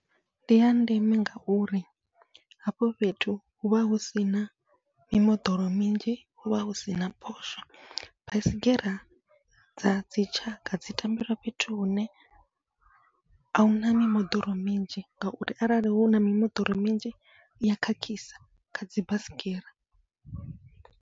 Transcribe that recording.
Ndi ya ndeme ngauri hafho fhethu huvha husina mimoḓoro minzhi huvha husina phosho, baisigira dza dzi tshakha dzi tambela fhethu hune ahuna mimoḓoro minzhi, ngauri arali huna mimoḓoro minzhi iya khakhisa khadzi baisigira.